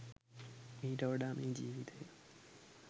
මීට වඩා මේ ජීවිතයේ